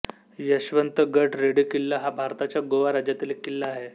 यशवंतगड रेडी किल्ला हा भारताच्या गोवा राज्यातील एक किल्ला आहे